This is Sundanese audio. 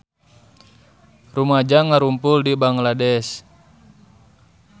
Rumaja ngarumpul di Bangladesh